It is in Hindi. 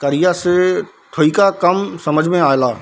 करिया से थोइका कम समझमे आला।